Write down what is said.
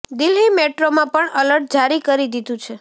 દિલ્હી મેટ્રોમાં પણ એલર્ટ જારી કરી દીધુ છે